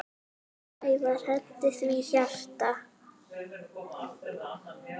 Sævar henti því hjarta.